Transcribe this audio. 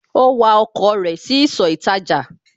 Ó wa ọkọ̀ rẹ̀ sí ìsọ̀ ìtajà